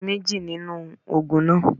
Lo mejì nínú ògùn náà